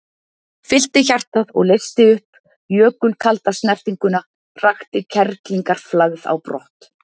Fyllti hjartað og leysti upp jökulkalda snertinguna, hrakti kerlingarflagð á brott.